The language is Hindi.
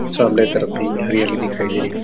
सामने तरफ़ भी हरियाली दिखाई दे रही--